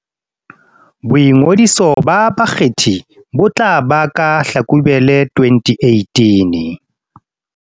Boingodiso ba bakgethi bo tla ba ka Hlakubele 2018